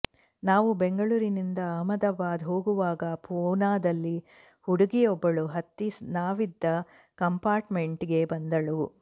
ನಾವು ಬೆಂಗಳೂರಿಂದ ಅಹಮದಾಬಾದ್ ಹೋಗುವಾಗ ಪೂನಾದಲ್ಲಿ ಹುಡುಗಿಯೊಬ್ಬಳು ಹತ್ತಿ ನಾವಿದ್ದ ಕಂಪಾರ್ಟ್ ಮೆಂಟ್ ಗೆ ಬಂದಳು